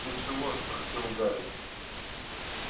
ты чего спросил гарри